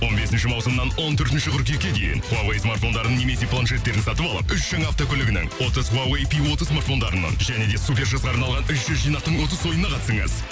он бесінші маусымнан он төртінші қыркүйекке дейін хуавей смартфондарын немесе планшеттерді сатып алып үш жаңа автокөлігінің отыз хуавей пи отыз смартофдарының және де супер жасқа арналған үш жүз жинақтың отыз ойынына қатысыңыз